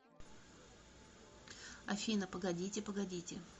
афина погодите погодите